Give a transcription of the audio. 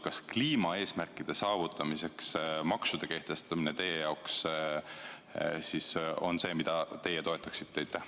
Kas kliimaeesmärkide saavutamiseks maksude kehtestamine on miski, mida teie toetaksite?